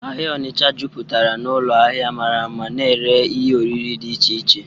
Ahịa Ọnịcha jupụtara n'ụlọ ahịa mara mma na-ere ihe oriri dị iche iche.